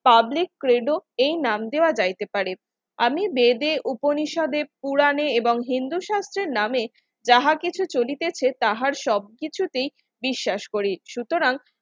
public ট্রেডো এই নাম দেওয়া যাইতে পারে, আমি বেদে উপনিষদে পুরানে এবং হিন্দু শাস্ত্রের নামে যাহা কিছু চলিতেছে তাহার সবকিছুতেই বিশ্বাস করি সুতরাং